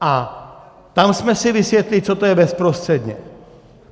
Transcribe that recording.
A tam jsme si vysvětlili, co to je bezprostředně.